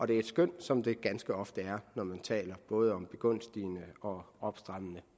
det er et skøn som det ganske ofte er når man taler både begunstigende og opstrammende